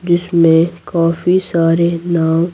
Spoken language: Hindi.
जिसमें काफी सारे नाम--